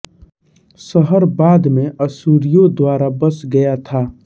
शहर बाद में अश्शूरियों द्वारा बस गया था